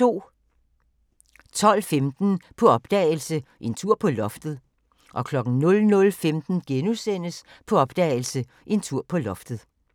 12:15: På opdagelse – En tur på loftet 00:15: På opdagelse – En tur på loftet *